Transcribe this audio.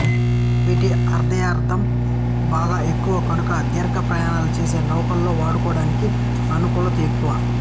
వీటి అర్ధాయుద్ధాయం బాగా ఎక్కువ కనుక దీర్ఘ ప్రయాణాలు చేసే నౌకలలో వాడడానికి అనుకూలత ఎక్కువ